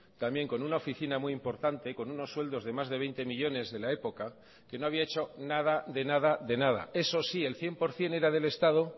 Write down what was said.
también con una oficina muy importante con unos sueldos de más de veinte millónes de la época que no había hecho nada de nada de nada eso sí el cien por ciento era del estado